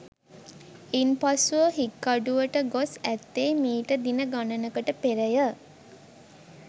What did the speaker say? ඉන්පසුව හික්කඩුවට ගොස් ඇත්තේ මීට දින ගණනකට පෙරය